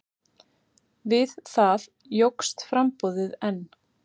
Við það jókst framboðið enn.